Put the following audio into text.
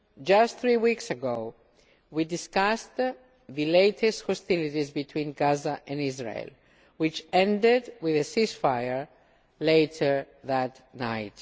Just three weeks ago we discussed the latest hostilities between Gaza and Israel, which ended with a ceasefire later that night.